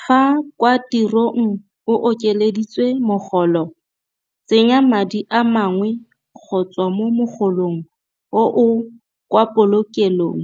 Fa kwa tirong o okeleditswe mogolo, tsenya madi a mangwe go tswa mo mogolong oo kwa polokelong